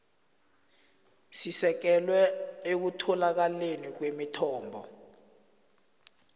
sisekelwe ekutholakaleni kwemithombo